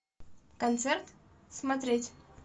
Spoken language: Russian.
концерт смотреть